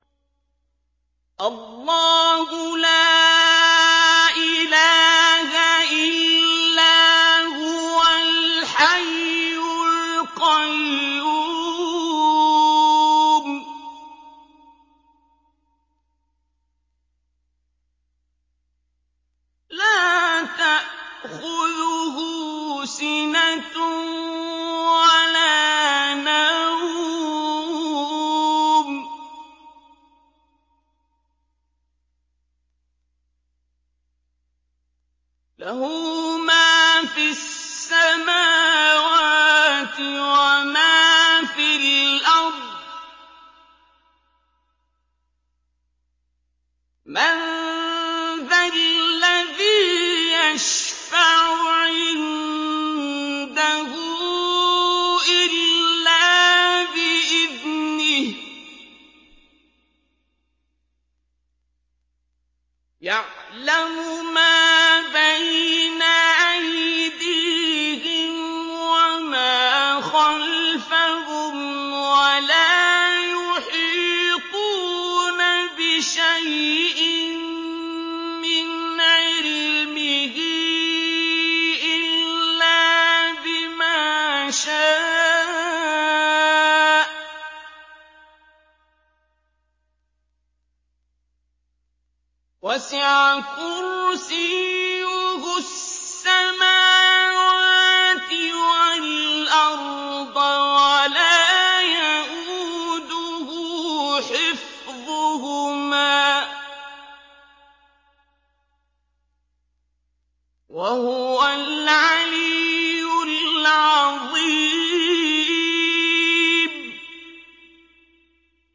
اللَّهُ لَا إِلَٰهَ إِلَّا هُوَ الْحَيُّ الْقَيُّومُ ۚ لَا تَأْخُذُهُ سِنَةٌ وَلَا نَوْمٌ ۚ لَّهُ مَا فِي السَّمَاوَاتِ وَمَا فِي الْأَرْضِ ۗ مَن ذَا الَّذِي يَشْفَعُ عِندَهُ إِلَّا بِإِذْنِهِ ۚ يَعْلَمُ مَا بَيْنَ أَيْدِيهِمْ وَمَا خَلْفَهُمْ ۖ وَلَا يُحِيطُونَ بِشَيْءٍ مِّنْ عِلْمِهِ إِلَّا بِمَا شَاءَ ۚ وَسِعَ كُرْسِيُّهُ السَّمَاوَاتِ وَالْأَرْضَ ۖ وَلَا يَئُودُهُ حِفْظُهُمَا ۚ وَهُوَ الْعَلِيُّ الْعَظِيمُ